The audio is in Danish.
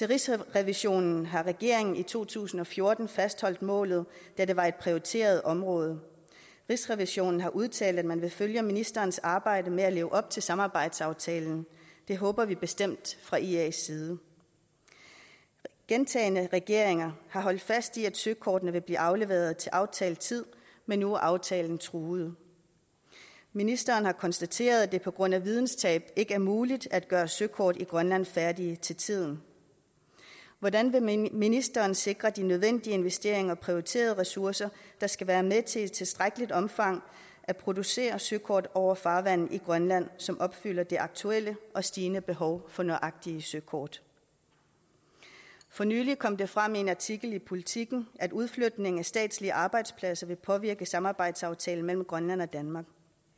rigsrevisionen har regeringen i to tusind og fjorten fastholdt målet da det var et prioriteret område rigsrevisionen har udtalt at man vil følge ministerens arbejde med at leve op til samarbejdsaftalen det håber vi bestemt fra ias side gentagne gange regeringer holdt fast i at søkortene vil blive afleveret til aftalt tid men nu er aftalen truet ministeren har konstateret at det på grund af videnstab ikke er muligt at gøre søkort i grønland er færdige til tiden hvordan vil ministeren sikre de nødvendige investeringer og prioriterede ressourcer der skal være med til i tilstrækkeligt omfang at producere søkort over farvandene i grønland som opfylder de aktuelle og stigende behov for nøjagtige søkort for nylig kom det frem i en artikel i politiken at udflytningen af statslige arbejdspladser vil påvirke samarbejdsaftalen mellem grønland og danmark